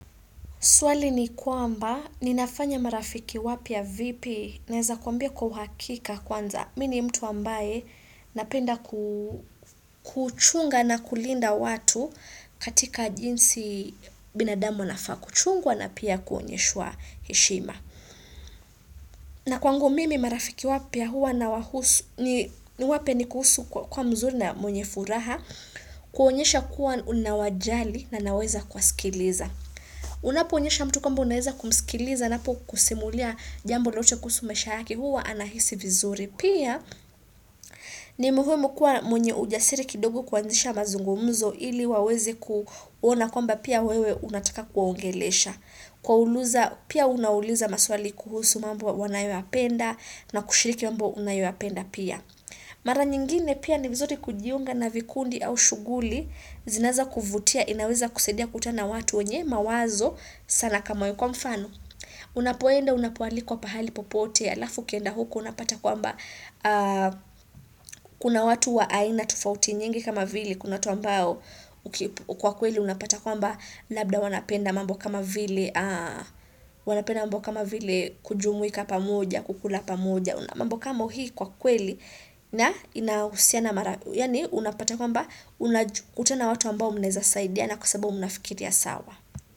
Swali ni kwamba, ninafanya marafiki wapya vipi? Naeza kuambia kwa uhakika kwanza. Mi ni mtu ambaye napenda kuchunga na kulinda watu katika jinsi binadamu anafaa kuchungwa na pia kuonyeshwa heshima. Na kwangu mimi marafiki wapya huwa na wahusu, ni wapya ni kuhusu kwa mzuri na mwenye furaha, kuwaonyesha kuwa unawajali na naweza kuwasikiliza. Unapoonyesha mtu kwamba unaweza kumskiliza anapo kusimulia jambo lolote kuhusu maisha yake huwa anahisi vizuri. Pia ni muhumu kuwa mwenye ujasiri kidogo kuanzisha mazungumuzo Ili waweze kuona kwamba pia wewe unataka kuwaongelesha Kuwauliza pia unauliza maswali kuhusu mambo wanayoyapenda na kushiriki mambo unayoyapenda pia Mara nyingine pia ni vizuri kujiunga na vikundi au shughuli zinaeza kuvutia inaweza kusadia kukutana na watu wenye mawazo sana kama hiyo.kwa mfano unapoenda unapoalikwa pahali popote alafu ukienda huko unapata kwamba kuna watu wa aina tofauti nyingi kama vile kuna watu ambao kwa kweli unapata kwamba labda wanapenda mambo kama vile wanapenda mambo kama vile kujumuika pamoja kukula pamoja mambo kama hii kwa kweli na inahusiana yaani unapata kwamba kutana na watu ambao mnaeza saidina kwa sababu mnafikiria sawa.